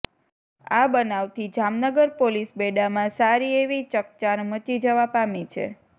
આ બનાવથી જામનગર પોલીસ બેડામાં સારી એવી ચકચાર મચી જવા પામી છે